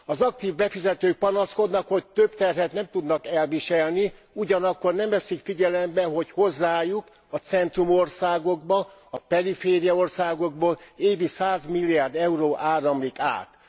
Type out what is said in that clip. Az aktív befizetők panaszkodnak, hogy több terhet nem tudnak elviselni, ugyanakkor nem veszik figyelembe, hogy hozzájuk, a centrumországokba a perifériaországokból évi 100 milliárd euró áramlik át.